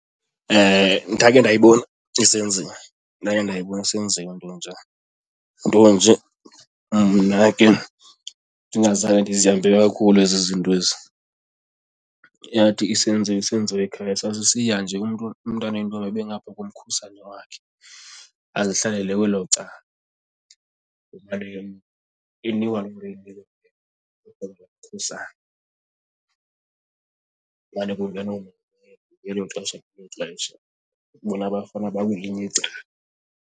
Ndake ndayibona isenziwa, ndake ndayibona isenziwa intonjana, nto nje mna ke ndingazange ndizihambele kakhulu ezi zinto ezi. Yathi isenziwa isenziwa ekhaya sasisiya nje umntu, umntana oyintombi abe engaphaa komkhusane wakhe, azihlalele kwelo cala . Kumane kungenwa ngelo xesha ngelo xesha, bona abafana bakwelinye icala.